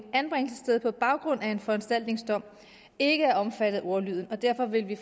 anbringelsessted på baggrund af en foranstaltningsdom ikke er omfattet af ordlyden og derfor vil vi